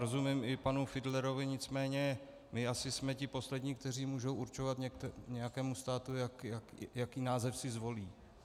Rozumím i panu Fiedlerovi, nicméně my asi jsme ti poslední, kteří mohou určovat nějakému státu, jaký název si zvolí.